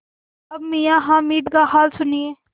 अब मियाँ हामिद का हाल सुनिए